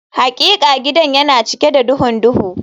Hakika gidan yana cike da duhun duhu